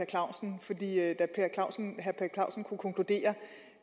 clausen fordi herre per clausen kunne konkludere